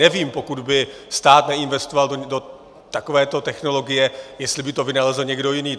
Nevím, pokud by stát neinvestoval do takovéto technologie, jestli by to vynalezl někdo jiný.